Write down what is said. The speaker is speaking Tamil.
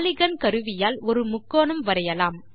பாலிகன் கருவியால் ஒரு முக்கோணம் வரையலாம்